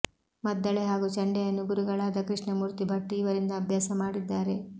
ಮದ್ದಳೆ ಹಾಗೂ ಚಂಡೆಯನ್ನು ಗುರುಗಳಾದ ಕೃಷ್ಣಮೂರ್ತಿ ಭಟ್ ಇವರಿಂದ ಅಭ್ಯಾಸ ಮಾಡಿದ್ದಾರೆ